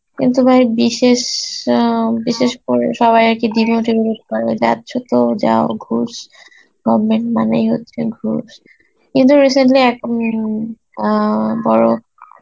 কিন্তু ভাই বিশেষ অ্যাঁ বিশেষ করে সবই আরকি demotivate করে, যাচ্ছ তো যাও ঘুস, government মানেই হচ্ছে ঘুস, কিন্তু recently এখন উম অ্যাঁ বড়